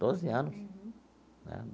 Doze anos né.